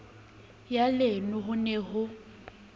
ya leon ho ne ho